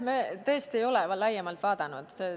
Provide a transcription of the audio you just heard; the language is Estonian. Me tõesti ei ole laiemalt vaadanud.